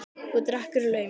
Og drekkur í laumi.